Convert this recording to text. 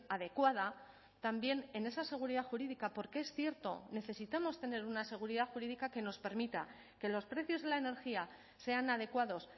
adecuada también en esa seguridad jurídica porque es cierto necesitamos tener una seguridad jurídica que nos permita que los precios de la energía sean adecuados